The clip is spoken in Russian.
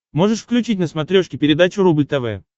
можешь включить на смотрешке передачу рубль тв